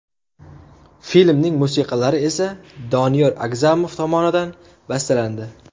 Filmning musiqalari esa Doniyor Agzamov tomonidan bastalandi.